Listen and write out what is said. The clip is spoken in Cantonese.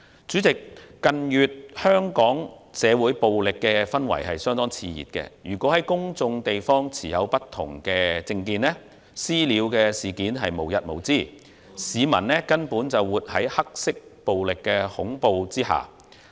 主席，近月香港社會暴力氛圍相當熾熱，公眾地方持不同政見人士的"私了"事件無日無之，市民根本是活在黑色暴力恐懼之下。